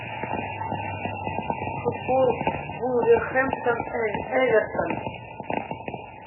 футбол вулверхэмптон эвертон